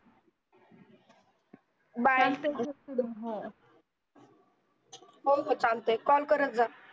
bye चालते call करत जा